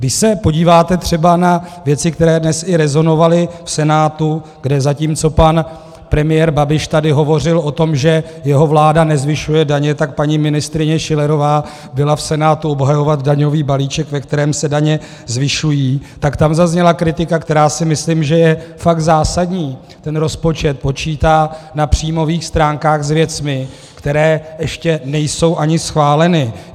Když se podíváte třeba na věci, které dnes i rezonovaly v Senátu, kde zatímco pan premiér Babiš tady hovořil o tom, že jeho vláda nezvyšuje daně, tak paní ministryně Schillerová byla v Senátu obhajovat daňový balíček, ve kterém se daně zvyšují, tak tam zazněla kritika, která si myslím, že je fakt zásadní: ten rozpočet počítá na příjmových stránkách s věcmi, které ještě nejsou ani schváleny.